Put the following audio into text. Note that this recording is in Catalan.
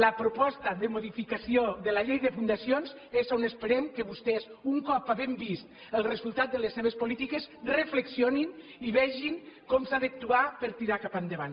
la proposta de modificació de la llei de fundacions és on esperem que vostès un cop havent vist el resultat de les seves polítiques reflexionin i vegin com s’ha d’actuar per tirar cap endavant